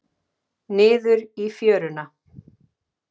Niður í fjöruna.